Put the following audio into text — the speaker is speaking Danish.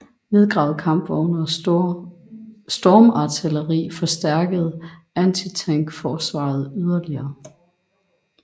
Nedgravede kampvogne og stormartilleri forstærkede antitankforsvaret yderligere